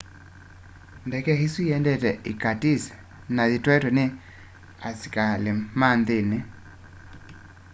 ndeke isu iendete irkutsk na yitwaitwe ni asikalima nthini